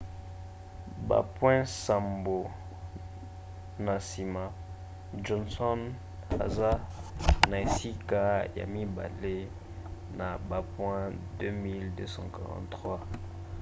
bapoint nsambo na nsima johnson aza na esika ya mibale na bapoint 2 243